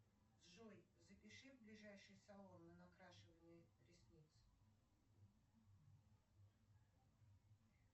джой запиши в ближайший салон на накрашивание ресниц